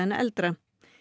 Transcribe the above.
eldra